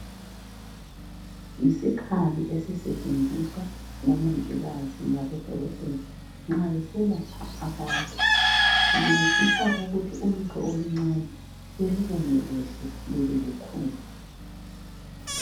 Yisikhali esisetshenziswa sisetshenziswa ngomongikazi labodokotela nxa beselapha abantu sincedisa ukuthi nxa ulutho oluncane belubone lube lukhulu.